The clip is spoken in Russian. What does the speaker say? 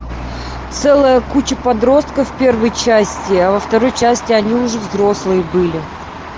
целая куча подростков в первой части а во второй части они уже взрослые были